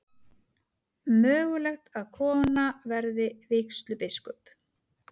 Mögulegt að kona verði vígslubiskup